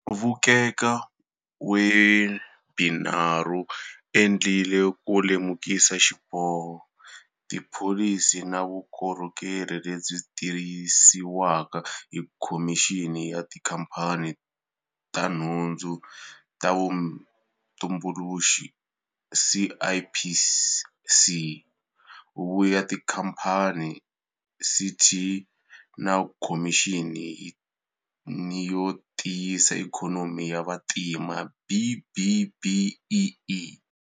Vuk eka Webinar wu endliwile ku lemukisa hi xiboho, tipholisi na vukorhokeri lebyi tisiwaka hi Khomixini ya Tikhampani na nhundzu ta Vutumbuluxi, CIPC, Huvo ya Tikhamphani, CT, na Khomixini yo Tiyisa Ikhonomi ya Vantima, B-BBEE.